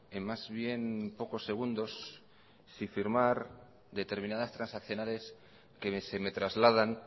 en más bien pocos segundos si firmar determinadas transaccionales que se me trasladan